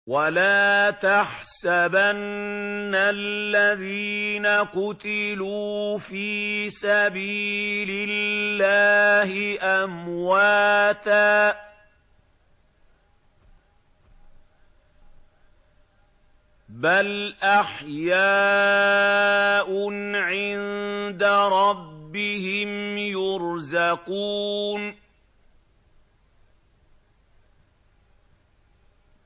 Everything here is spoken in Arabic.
وَلَا تَحْسَبَنَّ الَّذِينَ قُتِلُوا فِي سَبِيلِ اللَّهِ أَمْوَاتًا ۚ بَلْ أَحْيَاءٌ عِندَ رَبِّهِمْ يُرْزَقُونَ